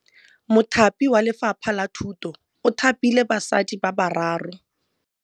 Mothapi wa Lefapha la Thutô o thapile basadi ba ba raro.